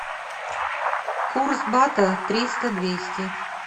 курс бата триста двести